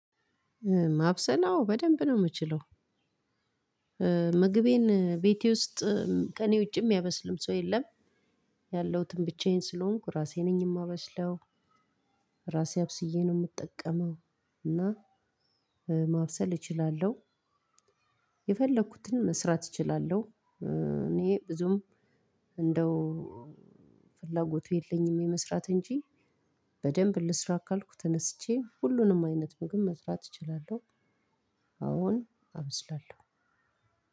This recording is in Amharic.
በደንብ አወ በደንብ ነው የምችለው ምግቤን ቤቴ ውስጥ ከኔ ውጪ የሚያበስልም ሰው የለም። ያለሁትም ብቻዬን ስለሆንኩ ራሴ ነኝ እማበስለው ራሴ አብስዬ ነው የምጠቀመው። እና ማብሰል እችላለሁ። የፈለኩትን መስራት እችላለሁ። እኔ ብዙም እንደው ፍላጎቱ የለኝም የመስራት እንጂ በደንብ ልስራ ካልኩ ተነስቼ ሁሉንም አይነት ምግብ መስራት እችላለሁ። አወን አብስላለሁ።